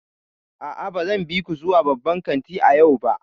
A'a, ba zan bi ku zuwa babban kanti a yau ba.